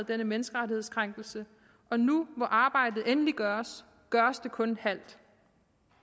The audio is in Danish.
denne menneskerettighedskrænkelse og nu hvor arbejdet endelig gøres gøres det kun halvt